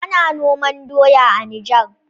Ana noman doya a Niger.